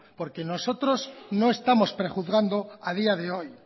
porque nosotros no estamos prejuzgando a día de hoy